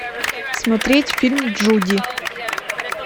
смотреть фильм джуди